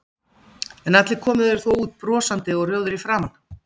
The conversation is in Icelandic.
En allir komu þeir þó út brosandi og rjóðir í framan.